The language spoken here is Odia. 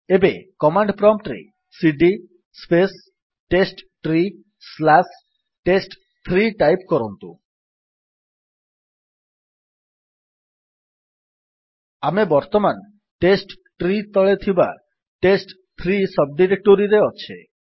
ଏବେ କମାଣ୍ଡ୍ ପ୍ରମ୍ପ୍ଟ୍ ରେ ସିଡି ସ୍ପେସ୍ ଟେଷ୍ଟଟ୍ରୀ ସ୍ଲାସ୍ ଟେଷ୍ଟ3 ଟାଇପ୍ କରନ୍ତୁ ଆମେ ବର୍ତ୍ତମାନ ଟେଷ୍ଟଟ୍ରୀ ତଳେ ଥିବା ଟେଷ୍ଟ3 ସବ୍ ଡିରେକ୍ଟୋରୀରେ ଅଛେ